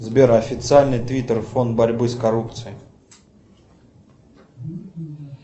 сбер официальный твиттер фонд борьбы с коррупцией